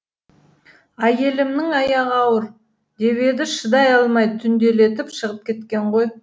әйелімнің аяғы ауыр деп еді шыдай алмай түнделетіп шығып кеткен ғой